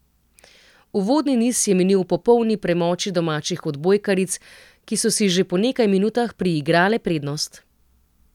Uvodni niz je minil v popolni premoči domačih odbojkaric, ki so si že po nekaj minutah priigrale prednost.